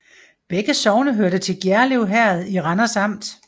Begge sogne hørte til Gjerlev Herred i Randers Amt